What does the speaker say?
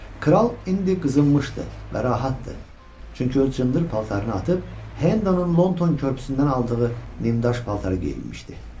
Kral indi qızınmışdı və rahatdır, çünki öz cındır paltarını atıb Hendanın London körpüsündən aldığı nimdaş paltarı geyinmişdi.